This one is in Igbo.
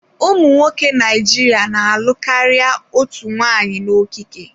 Ụmụ nwoke Naijiria na-alụ karịa otu nwanyị n'okike.